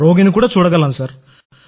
రోగిని కూడా చూడగలం సార్